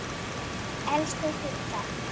Elsku Gudda.